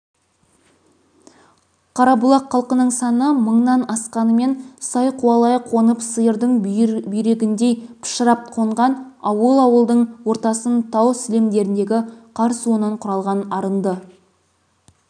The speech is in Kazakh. қарабұлақ халқының саны мыңнан асқанымен сай қуалай қонып сиырдың бүйрегіндей пышырап қонған ауыл ауылдың ортасын тау сілемдеріндегі қар суынан құралған арынды